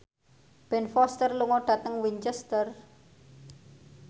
Ben Foster lunga dhateng Winchester